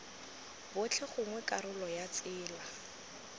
botlhe gongwe karolo ya tsela